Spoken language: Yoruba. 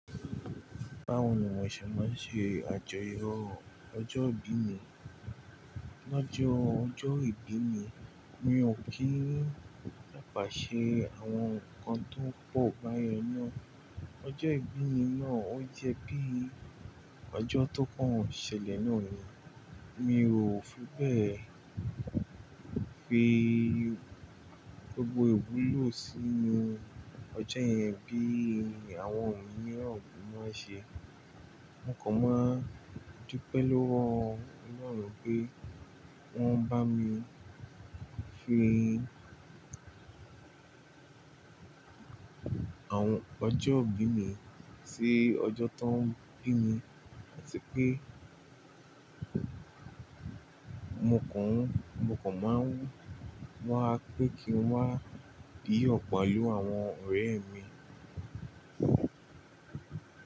Báwo ni mo ṣe máa ń ṣe àjọyọ̀ ọjọ́ ìbí mi? Lọjọọ ọjọ́ ìbí mi, mi ò kí ń ní ìpàṣẹ àwọn nǹkan tó pọ̀ báyẹn ná. Báwo ni wọ́n ṣe máa ń ṣe àjọyọ̀ ọjọ́ ìbí mi? Lọjọọ ọjọ́ ìbí mi, mi ò kí ń ní ìpàṣẹ àwọn nǹkan tó pọ̀ báyẹn ná. Mo kàn máa ń dúpẹ́ lọ́wọ́ Ọlọ́run pé wọ́n bá mi fi àwọn ọjọ́ ìbí mi sí ọjọ́ tó ń bí mi áti pé mo kàn ún, mo kàn máa ń wà pe kí n wà yọ pẹlu àwọn ọ̀rẹ́ mi.